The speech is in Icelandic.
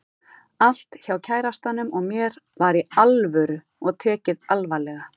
Allt hjá kærastanum og mér var Í ALVÖRU og tekið alvarlega.